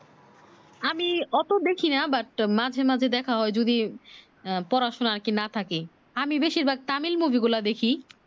আমি অত বেশি না but মাঝে মাঝে দেখা হয় যদি আহ পড়াশোনা আর কি না থাকে আমি বেশির ভাগ তামিল মুভি গুলা দেখি